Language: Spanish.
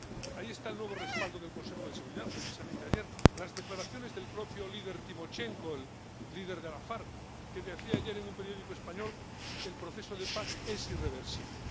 Ahí está el nuevo respaldo del Consejo de Seguridad precisamente ayer, o las declaraciones del propio líder Timochenko, el líder de las FARC, que decía ayer en un periódico español que el proceso de paz es irreversible.